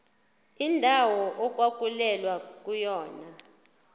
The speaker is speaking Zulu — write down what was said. indawo okwakulwelwa kuyona